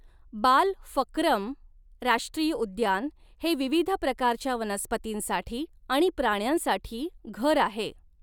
बालफक्रम राष्ट्रीय उद्यान हे विविध प्रकारच्या वनस्पतींसाठी आणि प्राण्यांसाठी घर आहे.